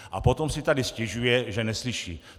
A potom si tady stěžuje, že neslyší.